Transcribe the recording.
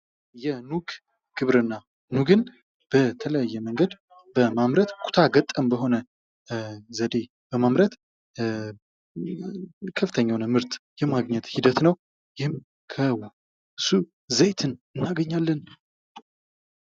የኑግ ግብርና። ኑግን በተለያየ መንገድ በማምረት ኩታገጠም በሆነ ዘዴ በማምረት ከፍተኛ የሆነ ምርት የማግኘት ሂደት ነው። ይህም ከሱ ዘይት እናገኛለን።